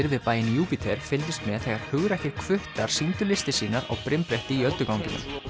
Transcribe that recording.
við bæinn Júpíter fylgdust með þegar hugrakkir sýndu listir sínar á brimbretti í ölduganginum